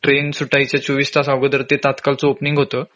म्हंजे ट्रेन सुटायच्या चोवीस तास आधी ते तात्काळ च ओपनिंग होत